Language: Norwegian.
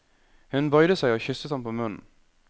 Hun bøyde seg og kysset ham på munnen.